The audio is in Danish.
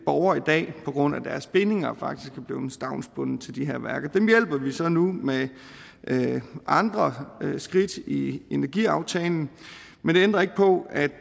borgere i dag på grund af deres bindinger faktisk er blevet stavnsbundet til de her værker dem hjælper vi så nu med andre skridt i energiaftalen men det ændrer ikke på at